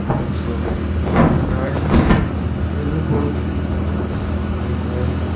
так что время договоримся или годы будет говорить